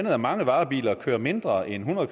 at mange varebiler kører mindre end hundrede